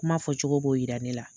Kuma fɔ cogo b'o yira ne la.